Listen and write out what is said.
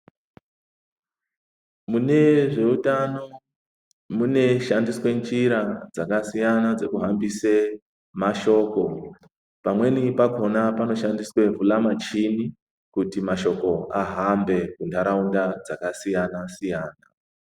Mune zveUtano munoshandiswe njira dzakasiyana dzekuhambise mashoko. Pamweni pakona panoshandiswe vulamuchini kuti mashoko ahambe munharaunda dzakasiyana -siyana.